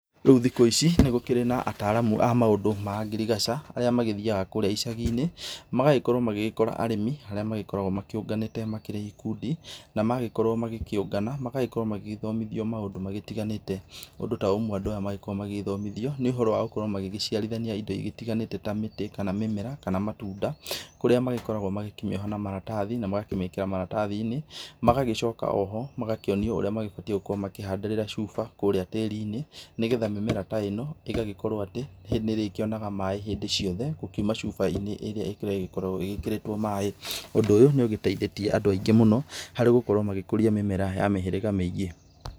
Rĩu thikũ ici nĩ gũkĩrĩ na ataramu a maũndũ ma ngirigaca arĩa magĩthiyaga kũrĩa ĩcagi-inĩ, magagĩkorwo magĩgĩkora arĩmi arĩa magĩkoragwo makĩũnganĩte makĩrĩ ikundi na magĩkorwo magĩkĩũngana magagĩkorwo magĩgĩthomithio maũndũ magĩtiganĩte. Ũndũ ta ũmwe andũ aya mangĩgĩkorwo magĩgĩthomithio nĩ ũhoro wa gũkorwo magĩciarithania ĩndo ĩgĩtiganĩte ta mwĩrĩ, kana mĩmera, kana matunda, kũrĩa makoragwo magĩkĩmĩoha na maratathi na magakĩmĩkĩra maratathi-inĩ magagĩcoka oho magakĩonio ũrĩa mabatĩĩ gũkorwo makĩhandĩrĩra cuba kũrĩa tĩri-inĩ nĩgetha mĩmera ta ĩno ĩgagĩkorwo atĩ nĩ ĩrĩkĩonaga maĩ hĩndĩ ciothe, gũkiuma cuba-inĩ ĩrĩa ĩkoragwo ĩgĩkĩrĩtwo maĩ. Ũndũ ũyũ nĩ ũgĩteithĩtie andũ aingĩ mũno harĩ gũkorwo magĩkũria mĩmera ya mĩhĩrĩga mĩingĩ.